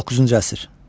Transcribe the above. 19-cu əsr.